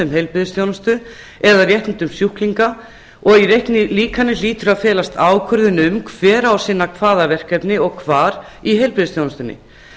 um heilbrigðisþjónustu eða réttindum sjúklinga og í reiknilíkani hlýtur að felast ákvörðun um hver á að sinna hvaða verkefni og hvar í heilbrigðisþjónustunni